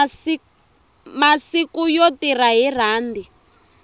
masiku yo tirha hi rhandi